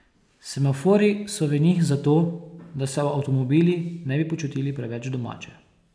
Semaforji so v njih zato, da se avtomobili ne bi počutili preveč domače.